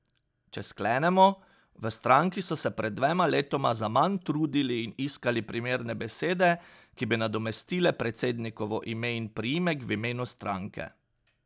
Če sklenemo, v stranki so se pred dvema letoma zaman trudili in iskali primerne besede, ki bi nadomestile predsednikovo ime in priimek v imenu stranke.